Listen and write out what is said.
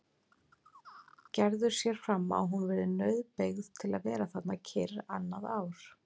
Gerður sér fram á að hún verði nauðbeygð til að vera þarna kyrr annað ár.